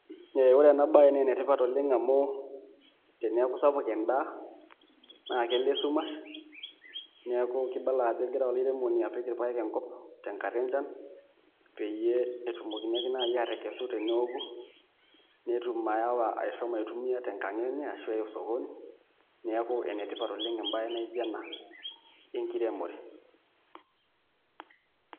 Ore enabae nenetipat oleng amu teneeku sapuk endaa, naa kelo esumash, neeku kibala ajo egira olairemoni apik irpaek enkop tenkata enchan, peyie etumokini ake nai atekesu teneoku, netum ayawa ashomo aitumia tenkang enye ashu eya osokoni, neeku enetipat oleng ebae naijo ena, enkiremore.